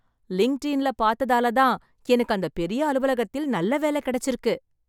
Linked இன்ல பார்த்ததாலதான், எனக்கு அந்த பெரிய அலுவலகத்தில் நல்ல வேலை கெடைச்சிருக்கு.